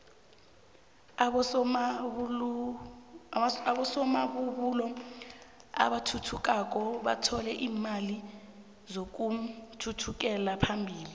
abosomabubulo abathuthukako bathole iimali zokuthuthukela phambili